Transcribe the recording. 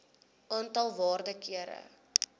aantal waarde kere